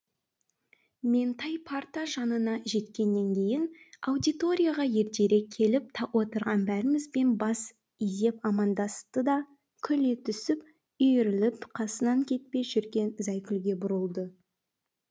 меңтай парта жанына жеткеннен кейін аудиторияға ертерек келіп отырған бәрімізбен бас изеп амандасты да күле түсіп үйіріліп қасынан кетпей жүрген зайкүлге бұрылды